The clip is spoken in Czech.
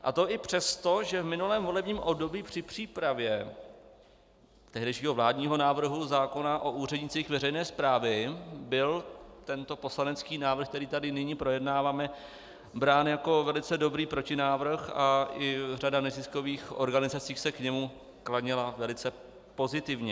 A to i přesto, že v minulém volebním období při přípravě tehdejšího vládního návrhu zákona o úřednících veřejné správy byl tento poslanecký návrh, který tady nyní projednáváme, brán jako velice dobrý protinávrh a i řada neziskových organizací se k němu klonila velice pozitivně.